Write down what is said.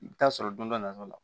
I bɛ taa sɔrɔ don dɔ nata la